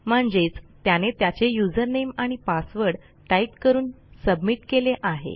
म्हणजेच त्याने त्याचे usernameआणि passwordटाईप करून सबमिट केले आहे